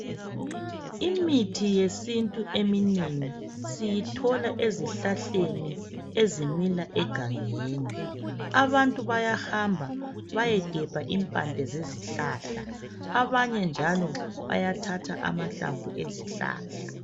imithi yesintu eminengi siyithola ezihlahleni ezimila egangeni abantu bayahamba bayegemba imbande zezihlahla abanye njalo bayathatha amahlamvu ezihlahla